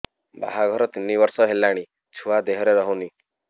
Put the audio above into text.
ବାହାଘର ତିନି ବର୍ଷ ହେଲାଣି ଛୁଆ ଦେହରେ ରହୁନି